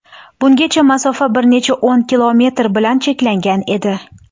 Bungacha masofa bir necha o‘n kilometr bilan cheklangan edi.